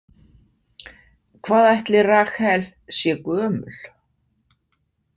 Hvað ætli Rahel sé gömul?